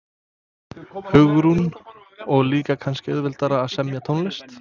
Hugrún: Og líka kannski auðveldara að semja tónlist?